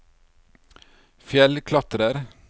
fjellklatrer